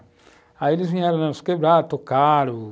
Aí eles vieram na nossa quebrada, tocaram,